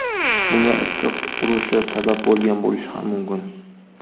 Bunga issiq urushi sabab bo‘lgan bo‘lishi ham mumkin.